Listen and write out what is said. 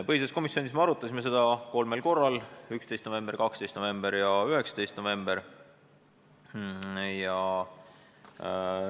Arutasime seda eelnõu põhiseaduskomisjonis kolmel korral, 11., 12. ja 19. novembril.